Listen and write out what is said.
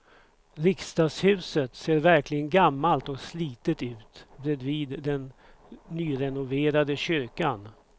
Riksdagshuset ser verkligen gammalt och slitet ut bredvid den nyrenoverade kyrkan.